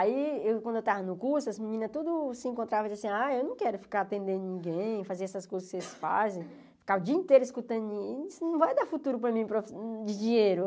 Aí, quando eu estava no curso, as meninas tudo se encontrava assim, ah, eu não quero ficar atendendo ninguém, fazer essas coisas que vocês fazem, ficar o dia inteiro escutando, isso não vai dar futuro para mim de dinheiro.